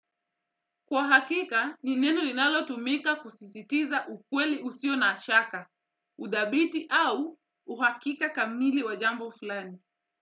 Kwa hakika, ni neno linalotumika kusisitiza ukweli usio na shaka, udhabiti au uhakika kamili wa jambo fulani.